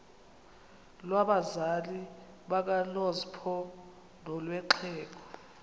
lwabazali bakanozpho nolwexhego